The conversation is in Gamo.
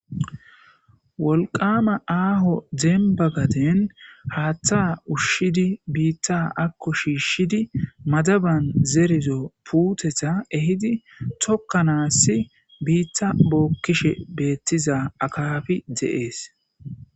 wolqama aaho dembagaden haaththa ushshidi biitta akko shiishshidi madaban zerizo puuteta ehidi tokkanaassi biitta bookkishe beettiza akafi de7ees